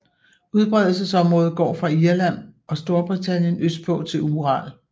Udbredelsesområdet går fra Irland og Storbritannien østpå til Ural